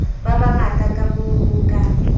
ba bangata kamoo ho ka